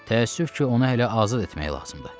Təəssüf ki, onu hələ azad etmək lazımdır.